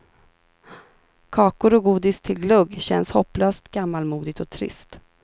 Kakor och godis till glögg känns hopplöst gammalmodigt och trist.